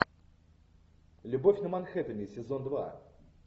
любовь на манхеттене сезон два